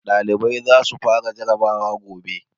Ɗalibai za su fara jarabawa gobe